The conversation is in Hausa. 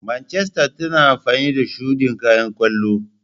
Manchester tana amfani da shudin kayan kwallo.